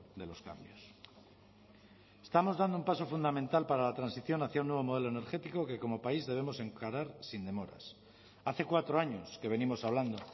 de los cambios estamos dando un paso fundamental para la transición hacia un nuevo modelo energético que como país debemos encarar sin demoras hace cuatro años que venimos hablando